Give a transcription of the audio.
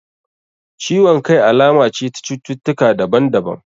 Ciwon kai alama ce ta cututtaka daban daban